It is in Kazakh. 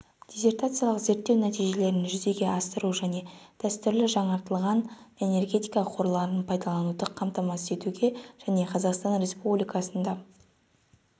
диссертациялық зерттеу нәтижелерін жүзеге асыру дәстүрлі және жаңартылатын энергетика қорларын пайдалануды қамтамасыз етуге және қазақстан республикасында